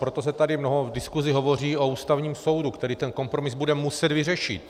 Proto se tady v diskusi mnoho hovoří o Ústavním soudu, který ten kompromis bude muset vyřešit.